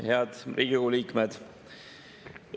Head Riigikogu liikmed!